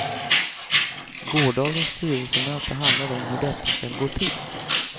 Gårdagens styrelsemöte handlade om hur detta skall gå till.